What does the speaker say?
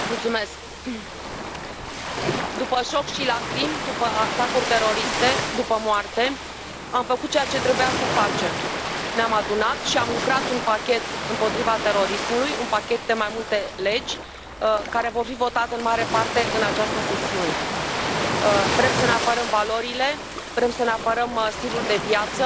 Domnule președinte, după șoc și lacrimi după atacuri teroriste, după moarte, am făcut ceea ce trebuia să facem ne am adunat și am lucrat un pachet împotriva terorismului, un pachet de mai multe legi care vor fi votate în mare parte în această sesiune. Vrem să ne apărăm valorile, vrem să ne apărăm stilul de viață,